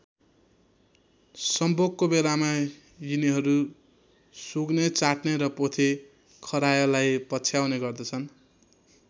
सम्भोगको बेलामा यिनीहरू सुँघ्ने चाट्ने र पोथी खरायोलाई पछ्याउने गर्दछन्।